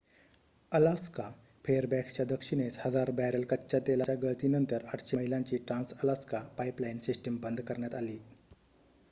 Alaska फेअरबॅक्सच्या दक्षिणेस हजार बॅरल कच्च्या तेलाच्या गळतीनंतर ८०० मैलांची ट्रान्स-अलास्का पाइपलाइन सिस्टम बंद करण्यात आली